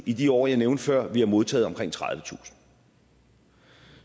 i de år jeg nævnte før vi har modtaget omkring tredivetusind